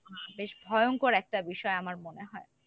বেশ ভয়ংকর একটা বিষয় আমার মনে হয়।